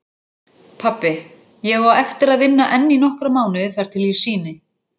Pabbi, ég á eftir að vinna enn í nokkra mánuði þar til ég sýni.